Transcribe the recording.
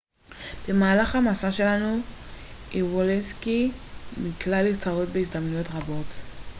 במהלך המסע שלו איוולסקי נקלע לצרות בהזדמנויות רבות